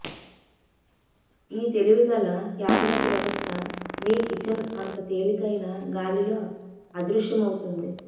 ఈ తెలివిగల క్యాబినెట్ వ్యవస్థ మీ కిచెన్ అంత తేలికైన గాలిలో అదృశ్యమవుతుంది